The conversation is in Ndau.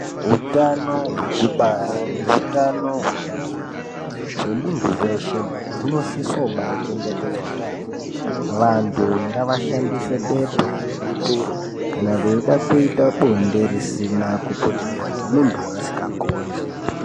Hutano wekubara, ngehutano hwepabonde hwemunhu weshe, unosiswa kubachengetedzwa yaambo. Vantu ngavashandise bepa rebutiro kana beyida kuita bonde risina kuputirwa nemunhu wavasingakondi.